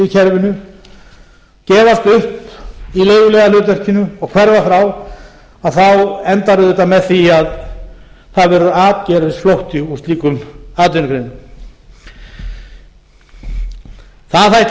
kerfinu eða í leiguliðahlutverkinu og færðar frá þá endar auðvitað með því að það verður atgervisflótti úr slíkum atvinnugreinum það þætti